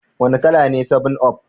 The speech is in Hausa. Wane kala ne 7up?